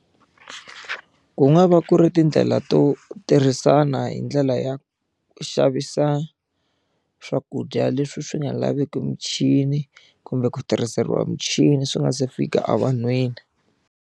Ku nga va ku ri tindlela to tirhisana hi ndlela ya xavisa swakudya leswi swi nga laveki michini kumbe ku tirhiseriwa michini swi nga se fika evanhwini.